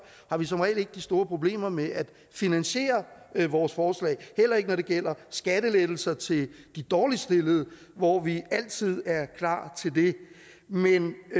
har vi som regel ikke de store problemer med at finansiere vores forslag heller ikke når det gælder skattelettelser til de dårligst stillede hvor vi altid er klar til det men